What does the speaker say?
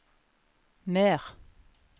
mer